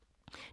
DR K